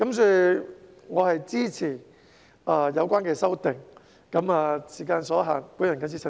所以，我支持有關的修訂。由於時間所限，我謹此陳辭。